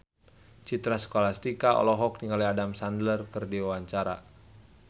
Citra Scholastika olohok ningali Adam Sandler keur diwawancara